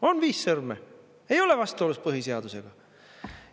On viis sõrme, ei ole vastuolus põhiseadusega.